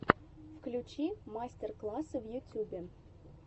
включи мастер классы в ютьюбе